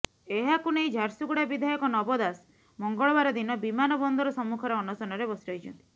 ଏହାକୁ ନେଇ ଝାରସୁଗୁଡା ବିଧାୟକ ନବ ଦାସ ମଙ୍ଗଳବାର ଦିନ ବିମାନ ବନ୍ଦର ସମ୍ମୁଖରେ ଅନଶନରେ ବସି ରହିଛନ୍ତି